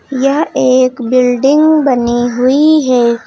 यह एक बिल्डिंग बनी हुई है।